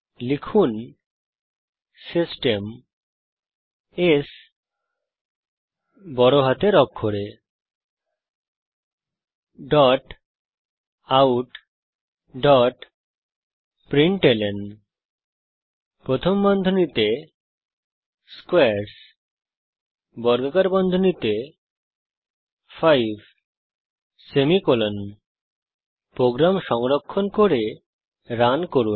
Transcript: লিখুন system S capitaloutprintlnস্কোয়ারস 5 program সংরক্ষণ করে রান করুন